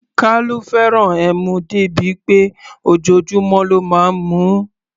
Kalu fẹ́ràn ẹmu dé bí pé ojoojúmọ́ ló máa ń mu ú.